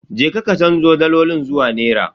Je ka ka canzo dalolin zuwa nera.